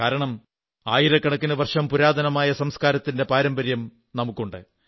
കാരണം ആയിരക്കണക്കിന് വർഷം പുരാതനമായ സംസ്കാരത്തിന്റെ പാരമ്പര്യം നമുക്കുണ്ട്